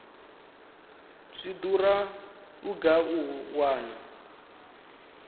zwi dura vhugai u wana